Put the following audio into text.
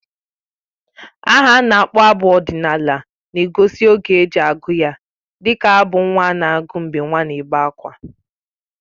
Aha a na-akpọ abụ ọdịnala na-egosi oge e ji agụ ya dịka abụ nnwa a na-agụ mgbe nwa n'ebé ákwá